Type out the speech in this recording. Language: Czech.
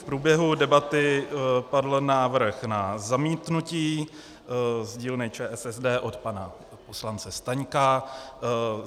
V průběhu debaty padl návrh na zamítnutí z dílny ČSSD od pana poslance Staňka.